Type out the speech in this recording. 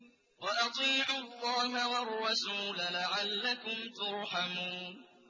وَأَطِيعُوا اللَّهَ وَالرَّسُولَ لَعَلَّكُمْ تُرْحَمُونَ